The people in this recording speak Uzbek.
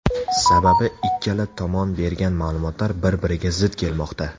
Sababi ikkala tomon bergan ma’lumotlar bir-biriga zid kelmoqda.